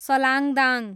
Salangdang